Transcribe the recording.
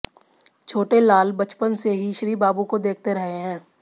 छोटे लाल बचपन से ही श्रीबाबू को देखते रहे हैं